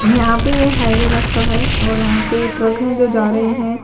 यहाँ पे हाईवे रास्ता है और यहाँ पे ट्रक हैं जो जा रहे हैं।